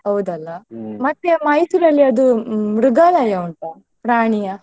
ಹೌದಲ್ಲ Mysore ಅಲ್ಲಿ ಅದು ಮೃಗಾಲಯ ಉಂಟಾ? ಪ್ರಾಣಿಯ.